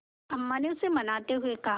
अम्मा ने उसे मनाते हुए कहा